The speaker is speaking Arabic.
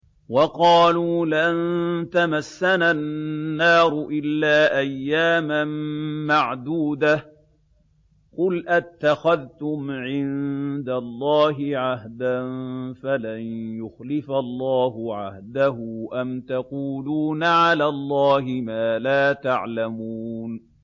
وَقَالُوا لَن تَمَسَّنَا النَّارُ إِلَّا أَيَّامًا مَّعْدُودَةً ۚ قُلْ أَتَّخَذْتُمْ عِندَ اللَّهِ عَهْدًا فَلَن يُخْلِفَ اللَّهُ عَهْدَهُ ۖ أَمْ تَقُولُونَ عَلَى اللَّهِ مَا لَا تَعْلَمُونَ